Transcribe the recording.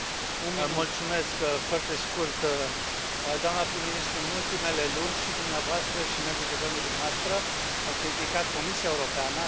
Domnule președinte, foarte scurt doamnă prim ministru, în ultimele luni, și dumneavoastră și membrii guvernului dumneavoastră au criticat Comisia Europeană.